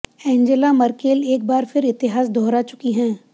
Angela Merkel एक बार फिर इतिहास दोहरा चुकी हैं